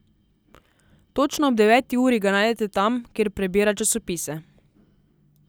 Točno ob deveti uri ga najdete tam, kjer prebira časopise.